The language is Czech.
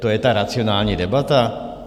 To je ta racionální debata?